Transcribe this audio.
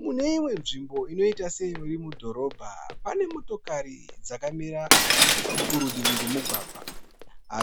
Mune imwe nzvimbo inoita seiri mudhorobha pane motokari dzakamira kurutivi kwemugwagwa.